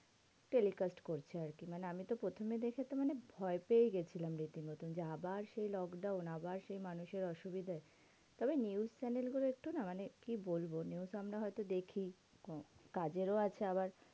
Telecast করছে আরকি। মানে আমিতো প্রথমে দেখেতো মানে ভয় পেয়েগিছিলাম রীতিমতো। যে আবার সেই lockdown আবার সেই মানুষের অসুবিধে। তবে news channel গুলো একটু না, মানে কি বলবো? news আমরা হয়তো দেখি কম কাজেরও আছে আবার